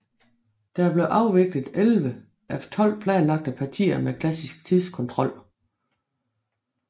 Der blev afviklet 11 af 12 planlagte partier med klassisk tidskontrol